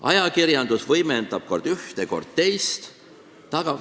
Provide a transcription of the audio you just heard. Ajakirjandus võimendab kord ühte, kord teist.